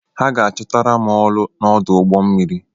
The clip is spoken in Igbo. Ha ga-achọtara m ọrụ n'ọdụ ụgbọ mmiri.